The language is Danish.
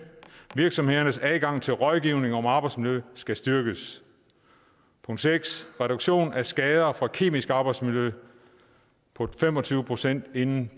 virksomhedernes adgang til rådgivning om arbejdsmiljø skal styrkes reduktion af skader fra kemisk arbejdsmiljø på fem og tyve procent inden